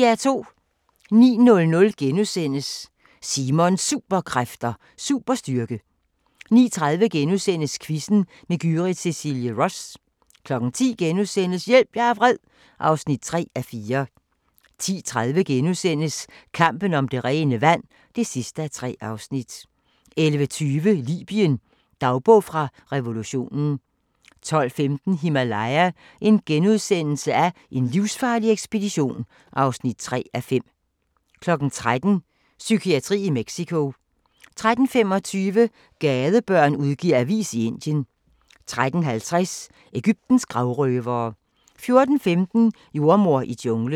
09:00: Simons Superkræfter: Superstyrke * 09:30: Quizzen med Gyrith Cecilie Ross * 10:00: Hjælp, jeg er vred (3:4)* 10:30: Kampen om det rene vand (3:3)* 11:20: Libyen – dagbog fra revolutionen 12:15: Himalaya: En livsfarlig ekspedition (3:5)* 13:00: Psykiatri i Mexico 13:25: Gadebørn udgiver avis i Indien 13:50: Egyptens gravrøvere 14:15: Jordemoder i junglen